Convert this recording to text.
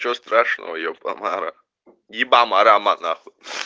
чего страшного е бамара ебама рама наху